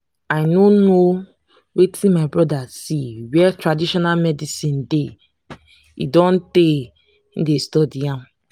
i no know wetin my brother see where traditional medicine dey e don tey he dey study am